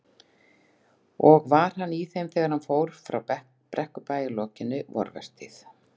Og var hann í þeim þegar hann fór frá Brekkubæ að lokinni vorvertíð.